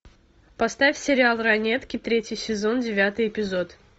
поставь сериал ранетки третий сезон девятый эпизод